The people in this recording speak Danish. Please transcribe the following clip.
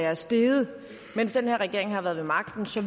er steget mens den her regering har været ved magten så